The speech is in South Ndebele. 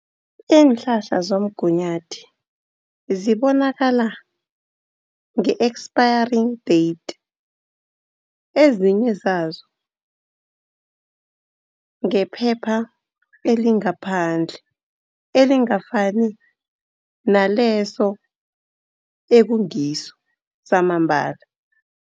Iinhlahla zomgunyathi, zibonakala nge-expiry date. Ezinye zazo, ngephepha elingaphandle elingafani naleso ekungiso samambala.